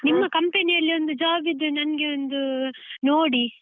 ನಿಮ್ಮ company ಯಲ್ಲಿ ಒಂದು job ಇದ್ರೆ ನಂಗೆ ಒಂದು ನೋಡಿ.